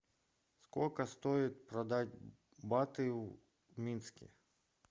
сколько стоит продать баты в минске